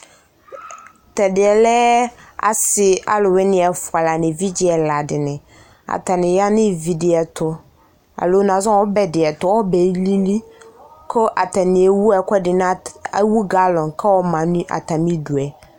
Tɛdeɛ lɛ ase aluwene ɛfua la no evidze ɛla de neAtane ya no ivi de ɛto, alo nazɔ no ɔbɛ de ɛto, ɔbɛ alill ko atane ewu ɛkide nat, ewu galɔn kɔma no atame due